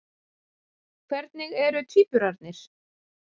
Hvernig eru tvíburarnir?